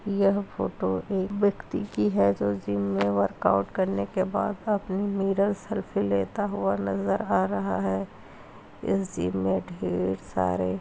यह फोटो एक व्यक्ति की है जो जिम में वर्कआउट करने बाद अपनी मिरर सेल्फी लेते हुए नजर आ रहा है। इस जिम में ढेर सारे --